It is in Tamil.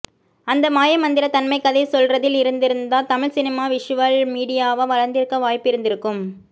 அந்த மாய மந்திரத் தன்மை கதை சொல்றதில் இருந்திருந்தா தமிழ் சினிமா விஷுவல் மீடியாவா வளர்ந்திருக்க வாய்ப்பிருந்திருக்கும்